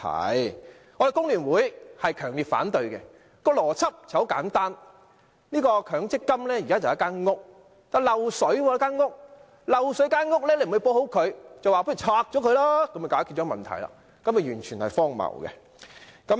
我們工聯會強烈反對，邏輯很簡單，強積金就像一間房屋，房屋漏水，不修補房屋，卻拆掉它來解決問題，這做法完全是荒謬的。